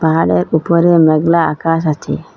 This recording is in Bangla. আর এক উপরে মেঘলা আকাশ আছে।